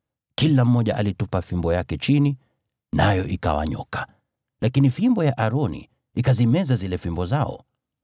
Kila mmoja alitupa fimbo yake chini, nayo ikawa nyoka. Lakini fimbo ya Aroni ikazimeza zile fimbo zao.